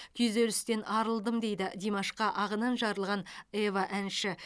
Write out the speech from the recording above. күйзелістен арылдым дейді димашқа ағынан жарылған ева әнші